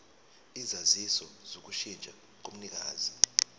isaziso sokushintsha komnikazi